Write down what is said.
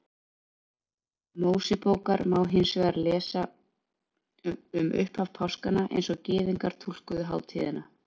Mósebókar má hins vegar lesa um upphaf páskanna eins og Gyðingar túlkuðu hátíðina.